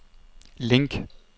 link